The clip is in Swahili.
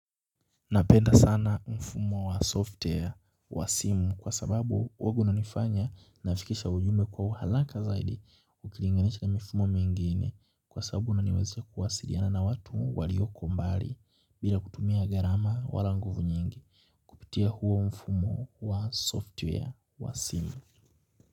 Napenda sana mfumo wa software wa simu kwa sababu uwaga unanifanya nafikisha ujume kwa uhalaka zaidi ukilinganisha na mifumo mengine kwa sababu unaniwezesha kuwasiliana na watu walioko mbali bila kutumia gharama wala nguvu nyingi. Kupitia huo mfumo wa software wa simu.